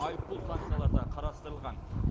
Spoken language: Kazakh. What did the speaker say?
айыппұл санкциялары да қарастырылған